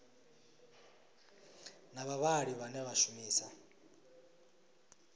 na vhavhali vhane vha shumisa